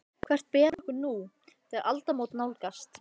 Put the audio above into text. Hvert ber okkur nú, þegar aldamót nálgast?